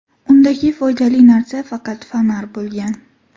Undagi foydali narsa faqat fonar bo‘lgan.